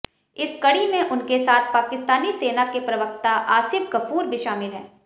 इस कड़ी में उनके साथ पाकिस्तानी सेना के प्रवक्ता आसिफ गफूर भी शामिल हैं